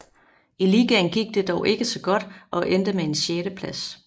I ligaen gik det dog ikke så godt og endte med en sjetteplads